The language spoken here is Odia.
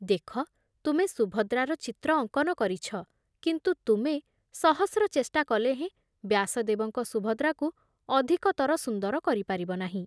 ଦେଖ, ତୁମେ ସୁଭଦ୍ରାର ଚିତ୍ର ଅଙ୍କନ କରିଛ, କିନ୍ତୁ ତୁମେ ସହସ୍ରଚେଷ୍ଟା କଲେ ହେଁ ବ୍ୟାସଦେବଙ୍କ ସୁଭଦ୍ରାକୁ ଅଧିକତର ସୁନ୍ଦର କରିପାରିବ ନାହିଁ ।